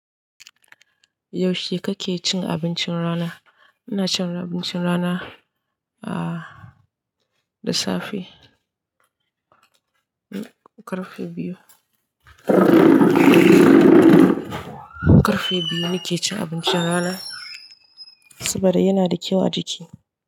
Yaushe kake cin abincin rana? Ina cin abincin rana da safe. Karfe biyu, karfe biyu nake cin abincin rana saboda yana da kyau a jiki.